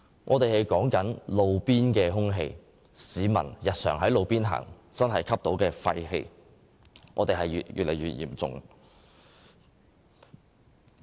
我們現在所談論的是路邊空氣質素，市民日常在路邊行走時吸入廢氣的情況越來越嚴重。